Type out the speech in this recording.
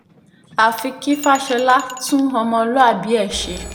àfi kí fàsọlà tún ọmọlúàbí ẹ̀ ṣe